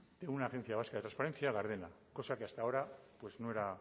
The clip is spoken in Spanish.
de una agencia vasca de transparencia gardena cosa que hasta ahora no era